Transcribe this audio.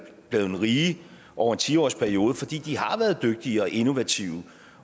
rige over en tiårsperiode fordi de har været dygtige og innovative